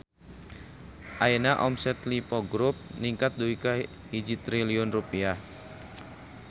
Ayeuna omset Lippo Grup ningkat dugi ka 1 triliun rupiah